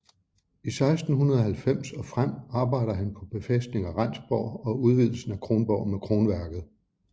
I 1690 og frem arbejder han på befæstning af Rendsborg og udvidelsen af Kronborg med kronværket